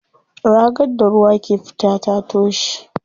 Ragar da ruwa ke fita ta toshe.